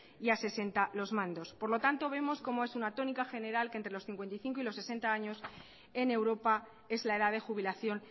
y a sesenta los mandos por lo tanto vemos cómo es una tónica general que entre los cincuenta y cinco y los sesenta años en europa es la edad de jubilación